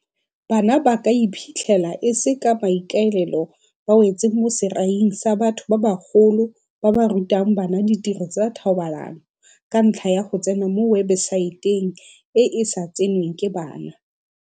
Bana ba ka iphitlhela e se ka maikaelelo ba wetse mo seraing sa batho ba bagolo ba ba rutang bana ditiro tsa thobalano ka ntlha ya go tsena mo webesaeteng e e sa tsenweng ke bana.